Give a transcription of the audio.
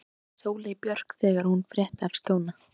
sagði Sóley Björk þegar hún frétti af Skjóna.